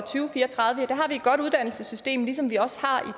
fire og tredive har vi et godt uddannelsessystem ligesom vi også har